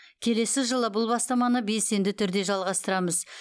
келесі жылы бұл бастаманы белсенді түрде жалғастырамыз